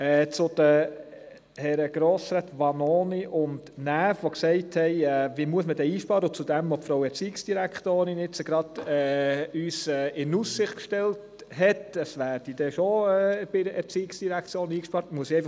Die Grossräte Vanoni und Näf haben gefragt, wo denn Einsparungen vorgenommen werden müssten, und die Erziehungsdirektorin hat in Aussicht gestellt, es müsse dann ganz sicher in der ERZ gespart werden.